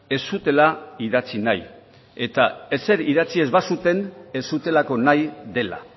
ez zutela idatzi nahi eta ezer idatzi ez bazuten ez zutelako nahi dela